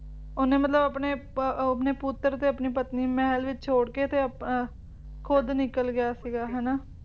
ਓਹਨੇ ਮਤਲਬ ਆਪਣੇ ਅਹ ਪੁੱਤਰ ਤੇ ਆਪਣੀ ਪਤਨੀ ਨੂੰ ਮਹਿਲ ਵਿੱਚ ਛੋੜਕੇ ਖੁਦ ਅਹ ਨਿਕਲ ਗਿਆ ਸੀਗਾ ਹਨਾਂ